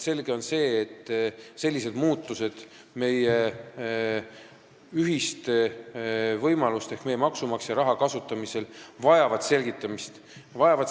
Selge on see, et sellised muutused meie ühiste võimaluste ehk maksumaksja raha kasutamisel vajavad selgitamist.